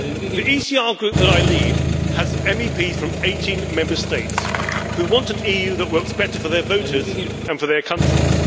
The ECR Group that I lead has MEPs from 18 Member States, who want an EU that works better for their voters and for their countries.